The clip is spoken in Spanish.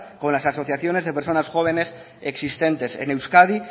con las asociaciones de personas jóvenes existentes en euskadi